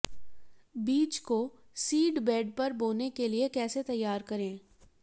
बीज को seed bed पर बोने के लिए कैसे तैयार करें